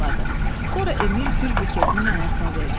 Sonra Emil gül buketini nənəsinə verdi.